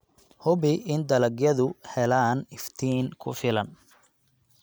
Hubi in dalagyadu helaan iftiin ku filan.